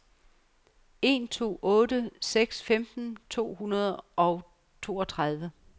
en to otte seks femten to hundrede og toogtredive